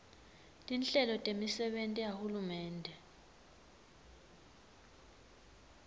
tinhlelo temisebenti yahulumende